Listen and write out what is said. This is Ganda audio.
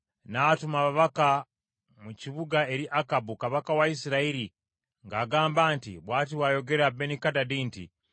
N’atuma ababaka mu kibuga eri Akabu kabaka wa Isirayiri ng’agamba nti, “Bw’ati bw’ayogera Benikadadi nti,